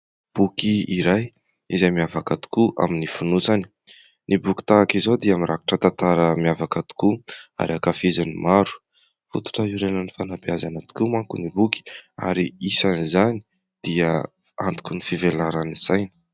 Boky iray izay miavaka tokoa amin'ny fonosana. Ny boky tahaka izao dia mirakitra tantara miavaka tokoa ary ankafizin'ny maro. Fototra iorenan'ny fanam-beazana tokoa manko ny boky ary isan'izany dia antoky ny fivelaran'ny saina.